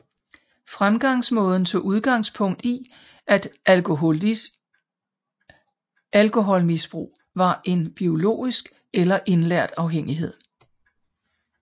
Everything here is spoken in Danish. Fremgangsmåden tog udgangspunkt i at alkoholmisbrug var en biologisk eller indlært afhængighed